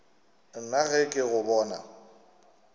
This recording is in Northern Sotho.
nna ge ke go bona